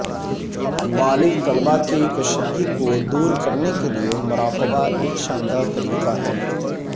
بالغ طلبا کے کشیدگی کو دور کرنے کے لئے مراقبہ ایک شاندار طریقہ ہے